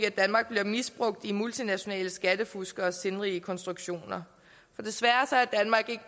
misbrugt i multinationale skattefuskeres sindrige konstruktioner desværre